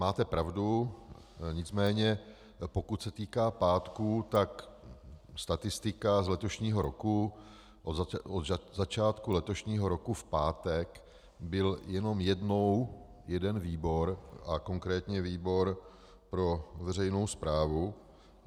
Máte pravdu, nicméně pokud se týká pátku, tak statistika z letošního roku od začátku letošního roku v pátek byl jenom jednou jeden výbor a konkrétně výbor pro veřejnou správu.